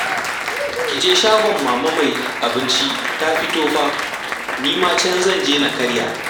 Ki je shagon Mama mai abinci ta fito fa, ni ma can zan je na karya